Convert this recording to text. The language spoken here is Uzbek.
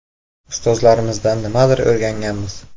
Ustozlarimizdan nimadir o‘rganganmiz.